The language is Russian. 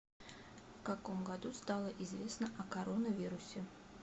в каком году стало известно о коронавирусе